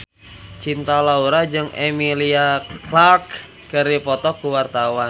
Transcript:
Cinta Laura jeung Emilia Clarke keur dipoto ku wartawan